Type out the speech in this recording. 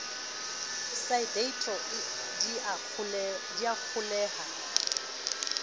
sa deidro di a kgolweha